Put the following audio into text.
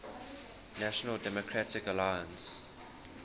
national democratic alliance